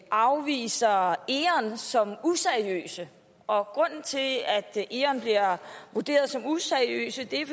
afviser eon som useriøse og grunden til at eon bliver vurderet som useriøse er